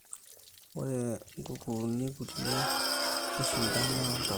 ore guguin kulie nishindana oo ntapuka